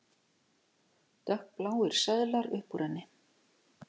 Dökkbláir seðlar upp úr henni.